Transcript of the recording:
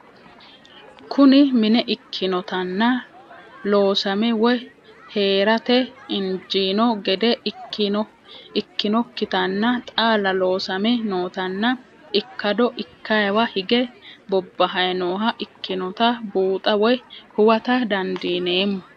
Kuni minne ikinotana loosame woyi heerate injino gede ikinokitanna xaala loosame nootana ikado ikayiwa hige bobahay nooha ikinota buuxa woye huwata dandinemo?